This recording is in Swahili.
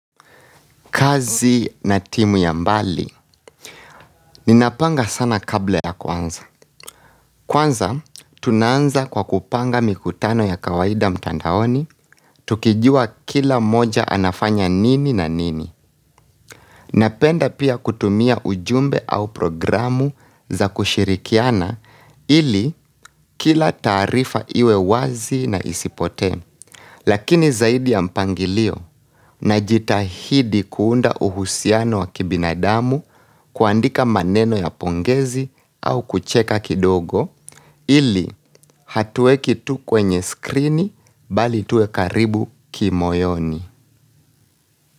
Kazi na timu ya mbali, ninapanga sana kabla ya kuanza. Kwanza, tunaanza kwa kupanga mikutano ya kawaida mtandaoni, tukijua kila mmoja anafanya nini na nini. Napenda pia kutumia ujumbe au programu za kushirikiana, ili kila tarifa iwe wazi na isipote. Lakini zaidi ya mpangilio, na jitahidi kuunda uhusiano wa kibinadamu kuandika maneno ya pongezi au kucheka kidogo ili hatue kitu kwenye screen bali tuwe karibu kimoyoni.